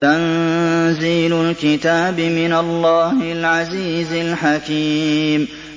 تَنزِيلُ الْكِتَابِ مِنَ اللَّهِ الْعَزِيزِ الْحَكِيمِ